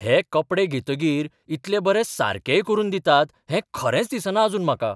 हे कपडे घेतकीर इतले बरे सारकेय करून दितात हें खरेंच दिसना आजून म्हाका.